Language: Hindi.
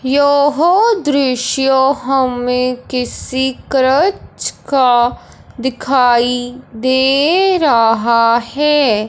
यह दृश्य हमें किसी करक्ष का दिखाई दे रहा है।